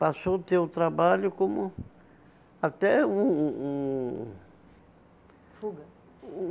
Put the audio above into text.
Passou a ter o trabalho como até um um um... Fuga.